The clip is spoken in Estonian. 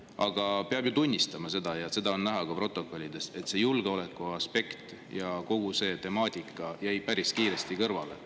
Aga peab ju tunnistama, ja seda on näha ka protokollidest, et see julgeolekuaspekt ja kogu see temaatika jäi päris kiiresti kõrvale.